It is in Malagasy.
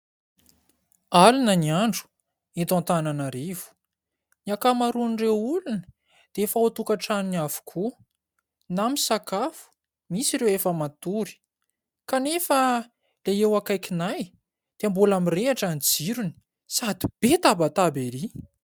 Alina ny andro eto Antananarivo. Ny ankamaroan'ireo olona dia efa ao an-tokantranony avokoa na misakafo, misy ireo efa matory kanefa ilay eo akaikinay dia mbola mirehatra ny jirony sady be tabataba ery !